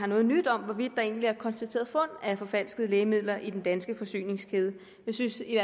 noget nyt om hvorvidt der egentlig er konstateret fund af forfalskede lægemidler i den danske forsyningskæde jeg synes i